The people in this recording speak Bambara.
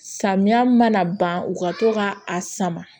Samiya mana ban u ka to ka a sama